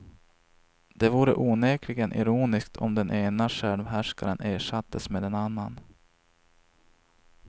Det vore onekligen ironiskt om den ena självhärskaren ersattes med en annan.